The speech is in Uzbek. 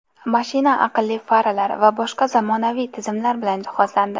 Mashina aqlli faralar va boshqa zamonaviy tizimlar bilan jihozlandi.